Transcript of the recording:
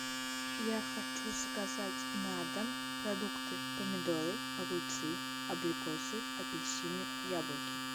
я хочу заказать на дом продукты помидоры огурцы абрикосы апельсины яблоки